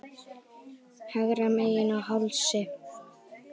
Hægra megin á hálsi.